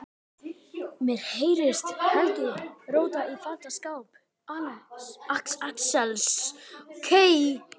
Mér heyrist Helgi róta í fataskáp Axels.